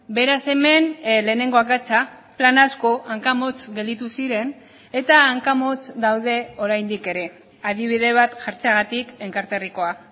beraz hemen lehenengo akatsa plan asko hanka motz gelditu ziren eta hanka motz daude oraindik ere adibide bat jartzeagatik enkarterrikoa